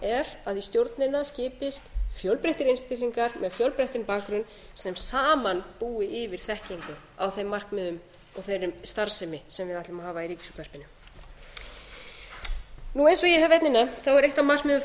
er að í stjórnina skipist fjölbreyttir einstaklingar með fjölbreyttan bakgrunn sem saman búi yfir þekkingu á þeim markmiðum og þeirri starfsemi sem við ætlum að hafa í ríkisútvarpinu eins og ég hef einnig nefnt er eitt af